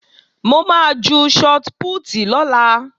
Mo máa ju shọt pútì lọ́la